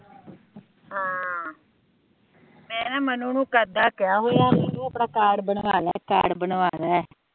ਮੈ ਨਾ ਮਨੂ ਨੂੰ ਕਦ ਦਾ ਕਿਹਾ ਹੋਇਆ ਉਹ ਆਪਣਾ ਕਾਰਡ ਬਨਵਾਲੇ ਕਾਰਡ ਬਨਵਾਲੇ